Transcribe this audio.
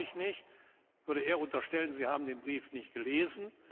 Das glaube ich nicht, ich würde eher unterstellen, sie haben den Brief nicht gelesen.